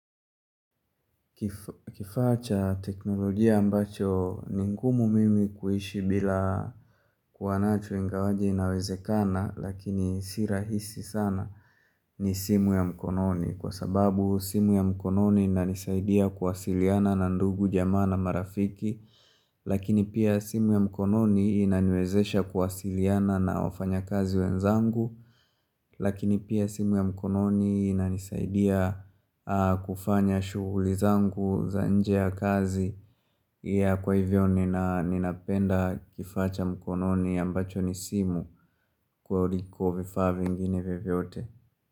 Kifaa cha teknolojia ambacho ni ngumu mimi kuishi bila kuwa nacho ingawaje inawezekana lakini si rahisi sana ni simu ya mkononi kwa sababu simu ya mkononi inanisaidia kuwasiliana na ndugu jamaa na marafiki Lakini pia simu ya mkononi inaniwezesha kuwasiliana na wafanyakazi wenzangu Lakini pia simu ya mkononi inanisaidia kufanya shughuli zangu za nje ya kazi. Kwa hivyo nina ninapenda kifaa cha mkononi ambacho ni simu kuliko vifaa vingine vyovyote.